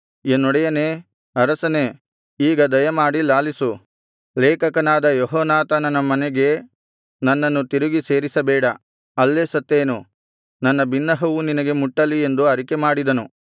ಎನ್ನೊಡೆಯನೇ ಅರಸನೇ ಈಗ ದಯಮಾಡಿ ಲಾಲಿಸು ಲೇಖಕನಾದ ಯೆಹೋನಾಥಾನನ ಮನೆಗೆ ನನ್ನನ್ನು ತಿರುಗಿ ಸೇರಿಸಬೇಡ ಅಲ್ಲೇ ಸತ್ತೇನು ನನ್ನ ಬಿನ್ನಹವು ನಿನಗೆ ಮುಟ್ಟಲಿ ಎಂದು ಅರಿಕೆಮಾಡಿದನು